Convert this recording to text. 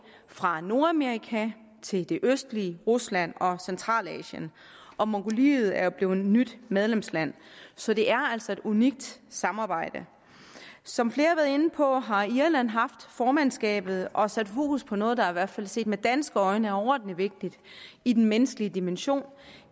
fra nordamerika til det østlige rusland og centralasien og mongoliet er jo blevet nyt medlemsland så det er altså et unikt samarbejde som flere har været inde på har irland haft formandskabet og særlig sat fokus på noget der i hvert fald set med danske øjne er overordentlig vigtigt i den menneskelige dimension